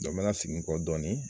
n b'a la sigin kɔ dɔɔni.